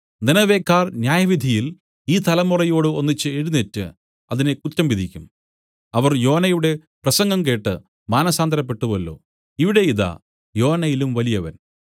നിനവേക്കാർ ന്യായവിധിയിൽ ഈ തലമുറയോട് ഒന്നിച്ച് എഴുന്നേറ്റ് അതിനെ കുറ്റം വിധിക്കും അവർ യോനയുടെ പ്രസംഗം കേട്ട് മാനസാന്തരപ്പെട്ടുവല്ലോ ഇവിടെ ഇതാ യോനയിലും വലിയവൻ